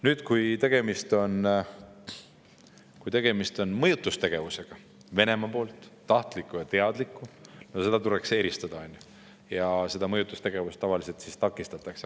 Nüüd, kui tegemist on Venemaa tahtliku ja teadliku mõjutustegevusega, siis seda tavaliselt takistatakse.